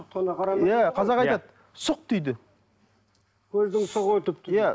иә қазақ айтады сұқ дейді көздің сұғы өтіпті иә